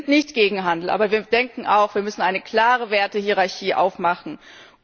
Wir sind nicht gegen Handel, aber wir denken auch Wir müssen eine klare Wertehierarchie schaffen.